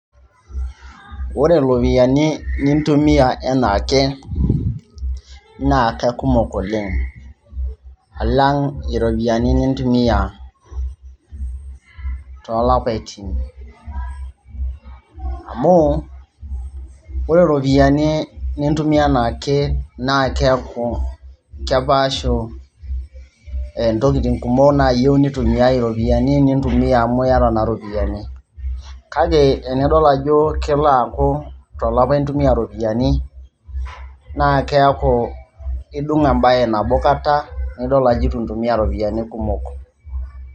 ore iropiyiani nintumia enaake naa kakumok oleng alang iropiyiani nintumia tolapaitin amu ore iropiyiani nintumia enaake naa keeku kepaashu intokitin kumok nayieu nitumiae iropiyiani nintumia amu iyata naa iropiyiani kake enidol ajo kelo aaku tolapa intumia iropiyiani naa keeku idung embaye nabo kata naidol ajo etu intumia iropiyiani kumok.